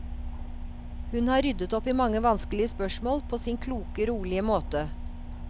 Hun har ryddet opp i mange vanskelige spørsmål, på sin kloke, rolige måte.